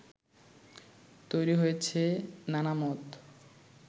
তৈরি হয়েছে নানা মত